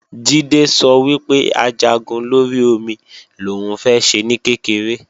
Jídé sọ wípé Ajagun lórí omi lòún fẹ́ ṣe ní kékeré